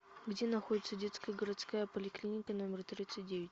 где находится детская городская поликлиника номер тридцать девять